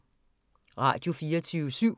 Radio24syv